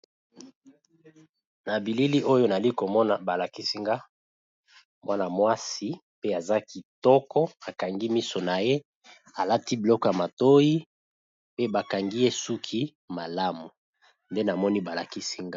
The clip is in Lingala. Nabilili oyo nazaliko mona balakisi nga mwana mwasi pe aza kitoko akangi miso naye alati biloko ya matoi pe bakangiye suki malamu nde namoni bala kisinga awa.